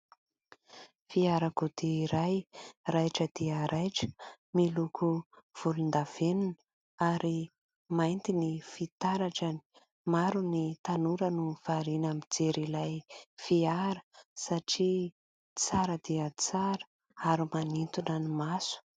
Fiarakodia iray raitra dia raitra, miloko volondavenona ary mainty ny fitaratrany. Maro ny tanora no variana mijery ilay fiara satria tsara dia tsara ary manintona ny maso.